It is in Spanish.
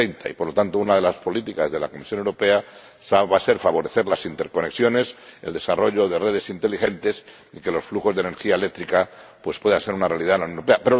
2030. Y, por lo tanto, una de las políticas de la Comisión Europea va a ser favorecer las interconexiones, el desarrollo de redes inteligentes y que los flujos de energía eléctrica puedan ser una realidad en la Unión Europea.